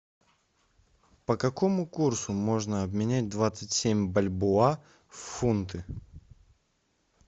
по какому курсу можно обменять двадцать семь бальбоа в фунты